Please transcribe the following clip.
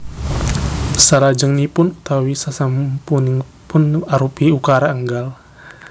Salajengipun utawi sasampunipun arupi ukara énggal